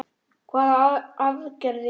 Hvaða aðgerðir eru það?